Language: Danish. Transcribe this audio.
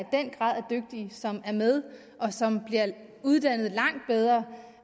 dygtige som er med og som bliver uddannet langt bedre